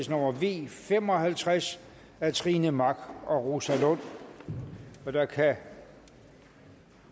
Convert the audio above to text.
nummer v fem og halvtreds af trine mach og rosa lund og der kan